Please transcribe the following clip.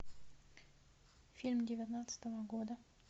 фильм девятнадцатого года